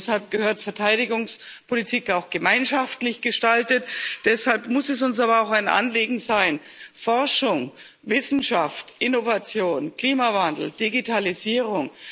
Deshalb gehört die Verteidigungspolitik auch gemeinschaftlich gestaltet, deshalb muss uns aber auch ein Anliegen sein Forschung, Wissenschaft, Innovation, Klimawandel, Digitalisierung.